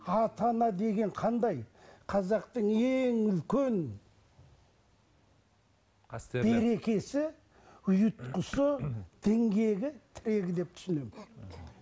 ата ана деген қандай қазақтың ең үлкен қастерлі берекесі ұйытқысы діңгегі тірегі деп түсінемін